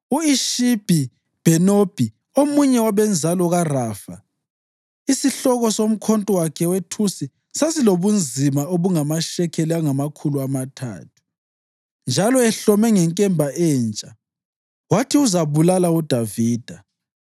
U-Ishibhi-Bhenobi, omunye wabenzalo kaRafa, isihloko somkhonto wakhe wethusi esasilobunzima obungamashekeli angamakhulu amathathu, njalo ehlome ngenkemba entsha, wathi uzabulala uDavida.